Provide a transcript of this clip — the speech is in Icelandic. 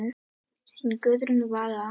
Þín Guðrún Vala.